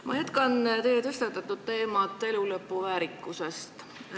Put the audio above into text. Ma jätkan teie tõstatatud teemat elulõpu väärikusest.